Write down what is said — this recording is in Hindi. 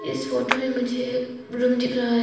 इस फोटो में मुझे एक रूम दिख रहा है।